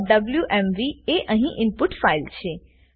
compilingwmvએ અહી input file છે